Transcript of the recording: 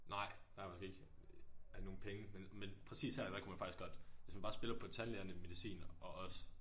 Nej det har jeg faktisk ikke jeg har ikke nogen penge men men præcis her der kunne man faktisk godt hvis man bare spiller på tandlægerne medicin og os